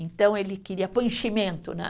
Então, ele queria pôr enchimento, né?